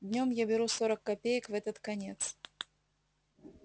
днём я беру сорок копеек в этот конец